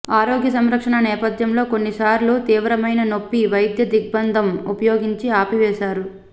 ఆరోగ్య సంరక్షణ నేపధ్యంలో కొన్నిసార్లు తీవ్రమైన నొప్పి వైద్య దిగ్బంధం ఉపయోగించి ఆపివేశారు